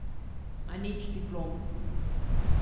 A nič diplom.